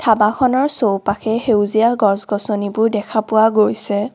ধাবাখনৰ চৌপাশে সেউজীয়া গছ-গছনিবোৰ দেখা পোৱা গৈছে।